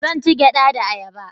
Zan ci gyada da ayaba